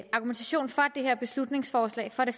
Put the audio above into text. argumentation for det her beslutningsforslag for det